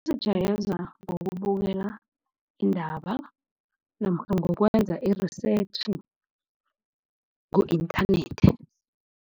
Kuzijayeza ngokubukela iindaba namkha ngokwenza i-research ku-inthanethi.